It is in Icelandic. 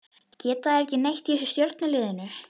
Geta þeir ekki neitt þessir í stjörnuliðinu?